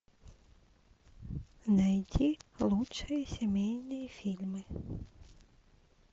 найти лучшие семейные фильмы